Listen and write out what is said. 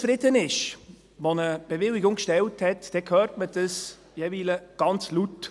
Wenn jemand, der um eine Bewilligung ersucht hat, nicht zufrieden ist, dann hört man dies jeweils ganz laut.